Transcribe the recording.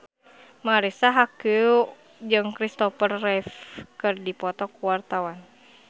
Marisa Haque jeung Kristopher Reeve keur dipoto ku wartawan